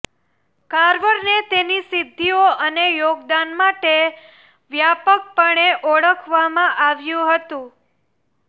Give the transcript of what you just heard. કાર્વરને તેની સિદ્ધિઓ અને યોગદાન માટે વ્યાપકપણે ઓળખવામાં આવ્યું હતું